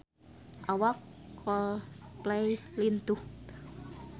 Awak Coldplay lintuh